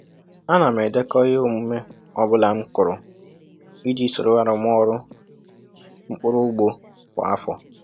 A na m edekọ ihe omume ọ bụla m kụrụ iji soro arụmọrụ mkpụrụ ugbo kwa afọ